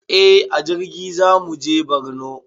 Eh a jirgi zamuje borno